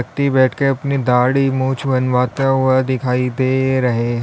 व्यक्ति बैठ के अपनी दाढ़ी मूछ बनवता हुआ दिखाई दे रहे है।